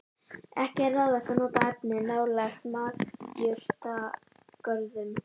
Ekki er ráðlegt að nota efnið nálægt matjurtagörðum.